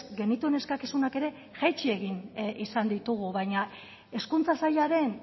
genituen eskakizunak ere jaitsi egin izan ditugu baina hezkuntza sailaren